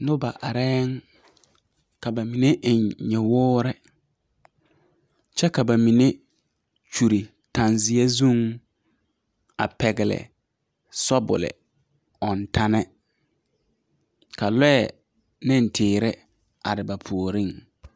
Nuba arẽ ka ba mene en nyuwori kye ka ba mene kyuli tangzie zung a pɛgli sobuli ɔng tani ka lɔɛ ne teere arẽ ba poɔring.